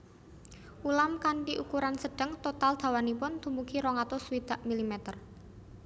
Ulam kanthi ukuran sedeng total dawanipun dumugi rong atus swidak milimeter